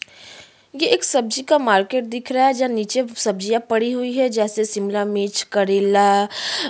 ये एक सब्जी का मार्केट दिख रहा है जहाँ निचे सब्जियां पड़ी हुई हैं जैसे शिमला मिर्च करेला --